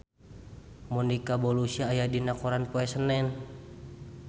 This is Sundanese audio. Monica Belluci aya dina koran poe Senen